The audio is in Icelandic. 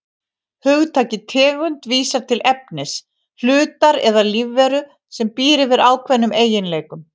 Hugtakið tegund vísar til efnis, hlutar eða lífveru sem býr yfir ákveðnum eiginleikum.